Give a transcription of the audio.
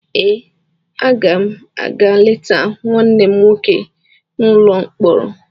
Ee, aga m a ga-leta nwanne m nwoke n’ụlọ mkpọrọ.